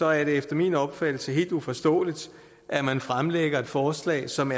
er det efter min opfattelse helt uforståeligt at man fremlægger et forslag som